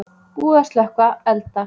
Búið að slökkva elda